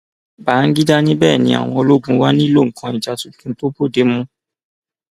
bangida ní bẹẹ ni àwọn ológun wá nílò nǹkan ìjà tuntun tó bóde mu